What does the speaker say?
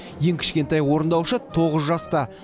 ең кішкентай орындаушы тоғыз жаста